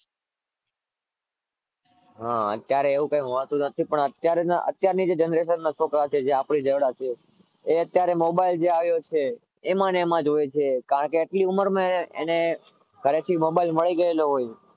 હા અત્યારે એવું કઈ હોતું નથી પણ અત્યાર ની generation ના છોકરા જે છે જે આપણી જેવડા છે એ અત્યારે mobile આવે છે એમાં ને એમજ હોય છે નાની ઉમર માં ઘરે થી mobile મળી ગયો હોય